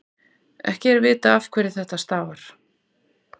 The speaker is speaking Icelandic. ekki er vitað afhverju þetta stafar